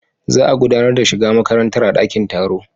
Za a gudanar da shiga makarantar a dakin taro.